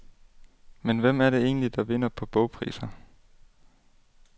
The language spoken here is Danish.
Men hvem er det egentlig der vinder på bogpriser?